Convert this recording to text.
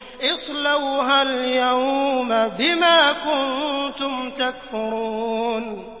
اصْلَوْهَا الْيَوْمَ بِمَا كُنتُمْ تَكْفُرُونَ